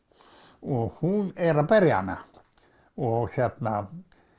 og hún er að berja hana og hérna